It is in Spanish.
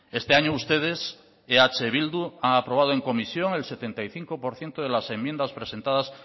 este año ustedes eh bildu ha aprobado en comisión el setenta y cinco por ciento de las enmiendas presentadas